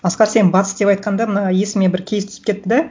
асқар сен батыс деп айтқанда мына есіме бір кейс түсіп кетті да